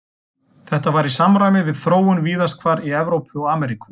Þetta var í samræmi við þróun víðast hvar í Evrópu og Ameríku.